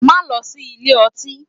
Má lọ sí ilé ọtí!